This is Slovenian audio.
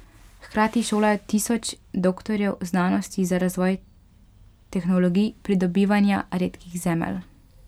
Hkrati šolajo tisoč doktorjev znanosti za razvoj tehnologij pridobivanja redkih zemelj.